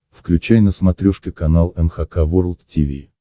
включай на смотрешке канал эн эйч кей волд ти ви